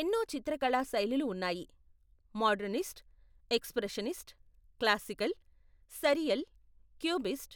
ఎన్నో చిత్రకళా శైలులు ఉన్నాయి, modernist, expressionist, classical, surreal, cubist,